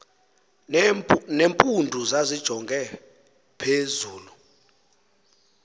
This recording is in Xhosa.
nempundu zazijonge phezulu